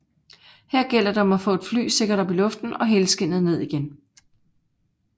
Her gælder det om at få et fly sikkert op i luften og helskindet ned igen